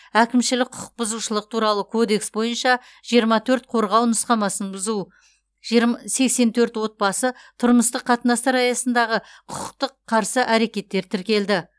әкімшілік құқық бұзушылық туралы кодекс бойынша жиырма төрт қорғау нұсқамасын бұзу жирм сексен төрт отбасы тұрмыстық қатынастар аясындағы құқықтық қарсы әрекеттер тіркелді